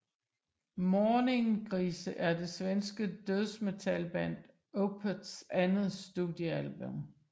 Morningrise er det svenske dødsmetalband Opeths andet studiealbum